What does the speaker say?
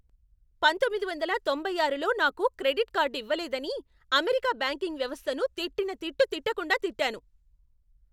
పంతొమ్మిది వందల తొంభై ఆరులో నాకు క్రెడిట్ కార్డు ఇవ్వలేదని, అమెరికా బ్యాంకింగ్ వ్యవస్థను తిట్టిన తిట్టు తిట్టకుండా తిట్టాను.